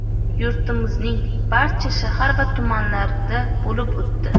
yurtimizning barcha shahar va tumanlarida bo‘lib o‘tdi.